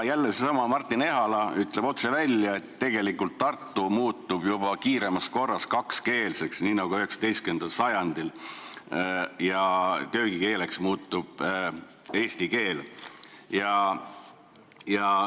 Seesama Martin Ehala on öelnud otse välja, et Tartu muutub kiiremas korras kakskeelseks, nii nagu oli 19. sajandil, ja köögikeeleks muutub eesti keel.